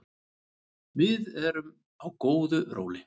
Við erum á góðu róli